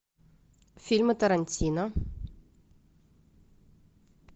фильмы тарантино